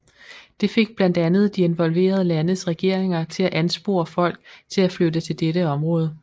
Det fik blandt andet de involverede landes regeringer til at anspore folk til at flytte til dette område